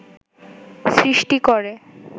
সৃষ্টি করে